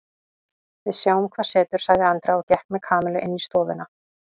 Við sjáum hvað setur sagði Andrea og gekk með Kamillu inn í stofuna.